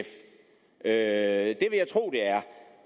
er at